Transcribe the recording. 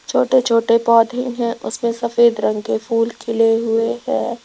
छोटे छोटे पौधे हैं उसमें सफेद रंग के फूल खिले हुए हैं।